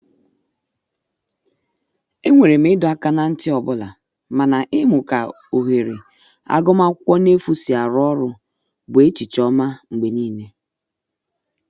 E nwere m ịdọ aka na nti ọbụla mana imu ka ohere agụma akwụkwo n'efu si arụ ọrụ bụ echiche oma mgbe nile.